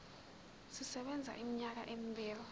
sisebenza iminyaka emibili